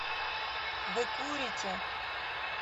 вы курите